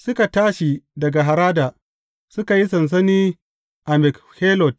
Suka tashi daga Harada, suka yi sansani a Makhelot.